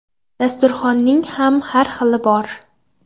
Dasturxonning ham har xili bor.